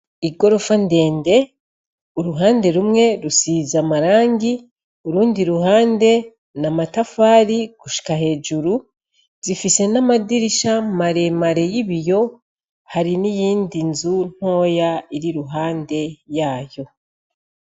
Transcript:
Igorofa ndende, uruhande rumwe rusize amarangi urundi ruhande n'amatafari gushika hejuru. Zifise n'amadirisha maremare y'ibiyo. Hari n'iyindi nzu ntoya ir'iruhande yayo.